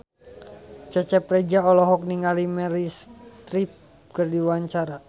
Cecep Reza olohok ningali Meryl Streep keur diwawancara